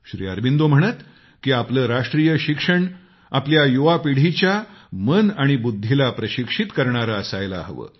श्री अरबिंदो म्हणत की आपले राष्ट्रीय शिक्षण आपल्या युवा पिढीच्या मन आणि बुद्धीला प्रशिक्षित करणारे असायला हवे